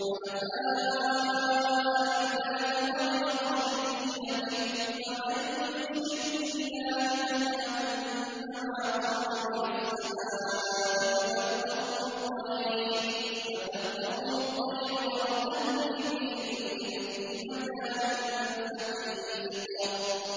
حُنَفَاءَ لِلَّهِ غَيْرَ مُشْرِكِينَ بِهِ ۚ وَمَن يُشْرِكْ بِاللَّهِ فَكَأَنَّمَا خَرَّ مِنَ السَّمَاءِ فَتَخْطَفُهُ الطَّيْرُ أَوْ تَهْوِي بِهِ الرِّيحُ فِي مَكَانٍ سَحِيقٍ